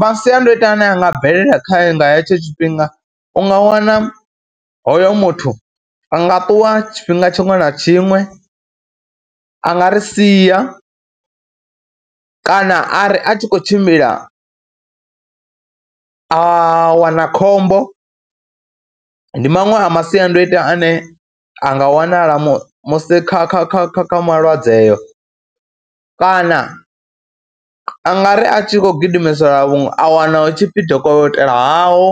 Masiandoitwa ane a nga bvelela khae nga hetsho tshifhinga u nga wana hoyo muthu a nga ṱuwa tshifhinga tshiṅwe na tshiṅwe, a nga ri sia kana a ri a tshi khou tshimbila a wana khombo. Ndi maṅwe a masiandoitwa ane a nga wanala mu musi kha kha kha kha kha malwadze eyo kana a nga ri a tshi khou gidimiselwa vhuongeloni a wana hu tshi pfhi dokotela haho